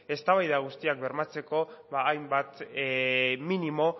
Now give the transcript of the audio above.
eztabaida guztiak bermatzeko hainbat minimo